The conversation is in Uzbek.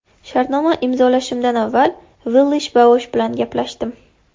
Shartnoma imzolashimdan avval Villash-Boash bilan gaplashdim.